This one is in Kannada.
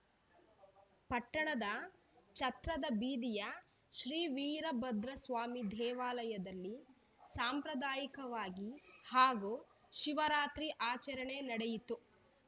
ಪಟ್ಟಣದ ಛತ್ರದ ಬೀದಿಯ ಶ್ರೀ ವೀರಭದ್ರಸ್ವಾಮಿ ದೇವಾಲಯದಲ್ಲಿ ಸಾಂಪ್ರದಾಯಿಕವಾಗಿ ಮಹಾ ಶಿವರಾತ್ರಿ ಆಚರಣೆ ನಡೆಯಿತು